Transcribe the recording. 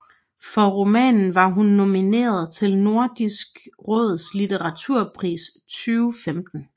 For romanen var hun nomineret til Nordisk Råds Litteraturpris 2015